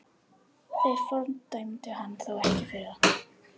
Þeir fordæmdu hann þó ekki fyrir það.